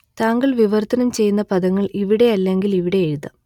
താങ്കൾ വിവർത്തനം ചെയ്യുന്ന പദങ്ങൾ ഇവിടെ അല്ലെങ്കിൽ ഇവിടെ എഴുതാം